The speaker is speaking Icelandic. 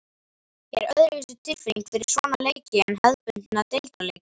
Er öðruvísi tilfinning fyrir svona leiki en hefðbundna deildarleiki?